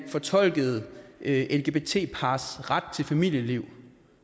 fortolkede lgbt pars ret til familieliv